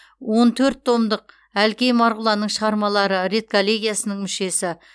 он төрт томдық әлкей марғұланның шығармалары редколлегиясының мүшесі